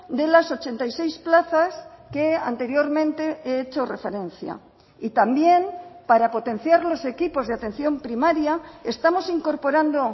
de las ochenta y seis plazas que anteriormente he hecho referencia y también para potenciar los equipos de atención primaria estamos incorporando